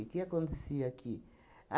O que acontecia aqui?